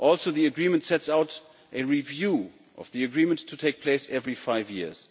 The Agreement also sets out a review of the Agreement to take place every five years.